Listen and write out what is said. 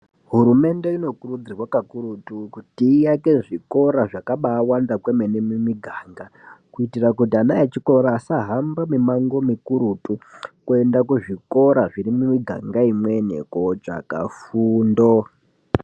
Hurumende inokurudzirwa kakurutu kuti iake zvikora zvakabawanda kwemene mumiganga kuitira kuti vana vechikora vemene asahamba mimango mikuruti vasaenda kumuganga imweni kotsvaga fundo.